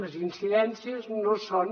les incidències no són